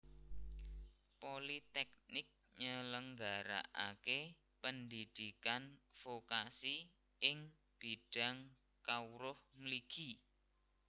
Politèknik nyelenggarakaké pendhidhikan vokasi ing bidang kawruh mligi